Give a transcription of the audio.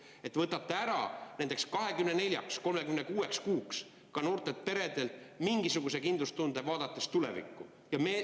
Seega, et võtate ära nendeks 24 või 36 kuuks ka noortelt peredelt igasuguse kindlustunde tuleviku ees.